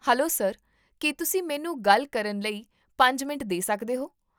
Hello sir, ਕੀ ਤੁਸੀਂ ਮੈਨੂੰ ਗੱਲ ਕਰਨ ਲਈ ਪੰਜ ਮਿੰਟ ਦੇ ਸਕਦੇ ਹੋ?